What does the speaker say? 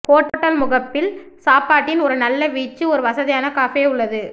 hotel முகப்பில் சாப்பாட்டின் ஒரு நல்ல வீச்சு ஒரு வசதியான கஃபே உள்ளது